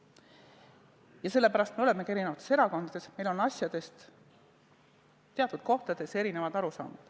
Ja selle pärast me olemegi eri erakondades, et meil on asjadest teatud kohtades erinevad arusaamad.